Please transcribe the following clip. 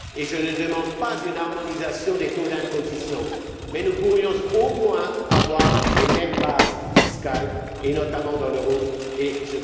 Je ne demande pas une harmonisation des taux d'imposition, mais nous pourrions, au moins, avoir les mêmes bases fiscales et, notamment, dans la zone euro.